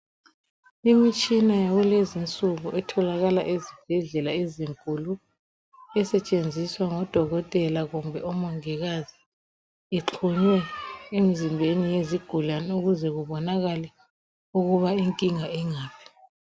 Imitshina yakulezinsuku etholakala ezibhedlela ezinkulu esetshenziswa ngodokotela kumbe omongikazi ixhunywe emzimbeni yezigulane ukuze kubonakale ukuba inkinga ingaphi